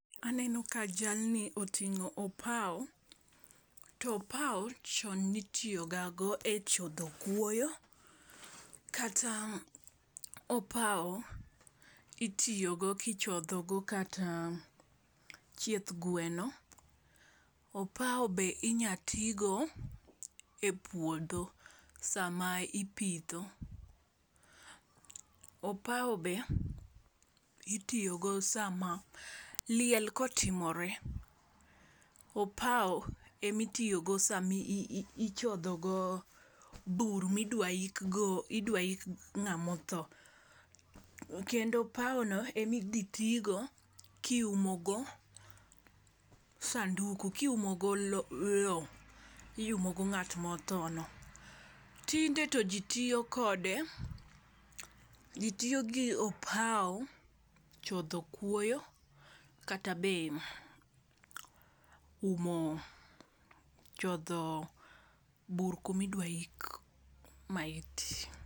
Aneno ka jalni otingó opao. To opao chon ne itiyo ga go e chodho kuoyo, kata opao, itiyogo kichodho go kata chieth gweno. Opao be inyalo ti go e puodho sama ipitho. Opao be itiyogo sama, liel kotimore. Opao ema itiyogo sama ichodhogo bur ma idwa ik go, idwa ik ngá motho. Kendo opao no ema idhi ti go kiumo go sanduku, kiumogo lowo, lowo. Iumo go ngát ma otho no. Tinde to ji tiyo kode, ji tiyo gi opao chodho kuoyo kata be umo, chodho bur kuma idwa ik maiti.